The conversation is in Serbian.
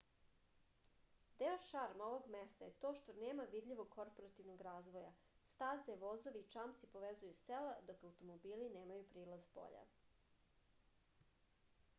deo šarma ovog mesta je to što nema vidljivog korporativnog razvoja staze vozovi i čamci povezuju sela dok automobili nemaju prilaz spolja